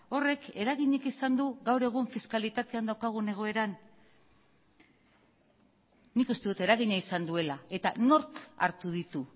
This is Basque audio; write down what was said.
horrek eraginik izan du gaur egun fiskalitatean daukagun egoeran nik uste dut eragina izan duela eta nork hartu ditu